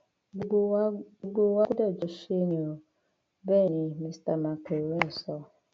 gbogbo wa gbogbo wa gbọdọ jọ ṣe ni ò bẹẹ ni mista makerónì sọ